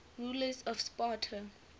rulers of sparta